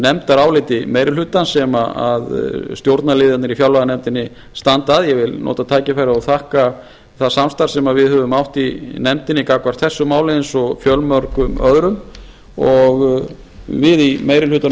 nefndaráliti meiri hlutans sem stjórnarliðar í fjárlaganefndinni standa að ég vil nota tækifærið og þakka það samstarf sem við höfum átt í nefndinni gagnvart þessu máli eins og fjölmörgum öðrum og við í meiri hlutanum